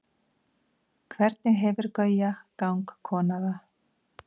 hvernig hefur gauja gangkona það